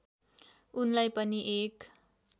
उनलाई पनि एक